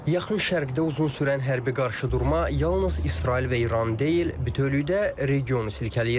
Yaxın Şərqdə uzun sürən hərbi qarşıdurma yalnız İsrail və İran deyil, bütövlükdə regionu silkələyir.